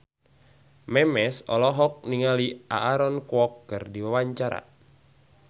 Memes olohok ningali Aaron Kwok keur diwawancara